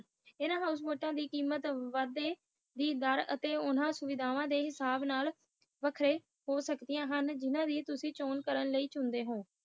ਹਨ ਹੌਸ਼ਬੋਟ ਦੇ ਕੀਮਤ ਵਡੇ ਦੇ ਡਾਰੇ ਅਤੇ ਸਹੂਲਤਾਂ ਹਿਸਾਬ ਨਾਲ ਵੱਖਰੀਆਂ ਹੋ ਸਕਦੀਆਂ ਹਨ ਜੋ ਕਿ ਤੁਸੀ ਚੋਣ ਕਰ ਸਕਦੇ ਹੋ